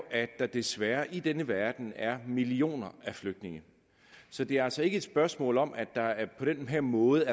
at der desværre i denne verden er millioner af flygtninge så det er altså ikke et spørgsmål om at der på den her måde